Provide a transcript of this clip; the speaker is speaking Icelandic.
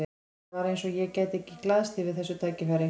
Það var eins og ég gæti ekki glaðst yfir þessu tækifæri.